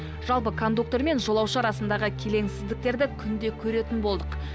жалпы кондуктор мен жолаушы арасындағы келеңсіздіктерді күнде көретін болдық